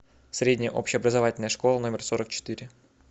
средняя общеобразовательная школа номер сорок четыре